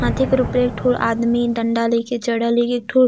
हाथी कर ऊपरे एकठो आदमी डंडा ले कर चढ़ल अहे एकठो --